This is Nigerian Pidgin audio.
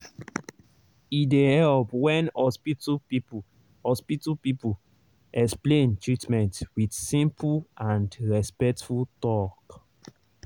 e dey help when hospital people hospital people explain treatment with simple and respectful talk.